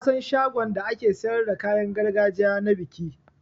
Nasan shagon da ake siyar da kayan gargajiya na biki.